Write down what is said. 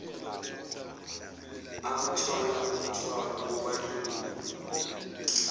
abathwala umthwalo wobandlululo